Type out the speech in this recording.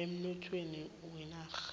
emnothweni wenarha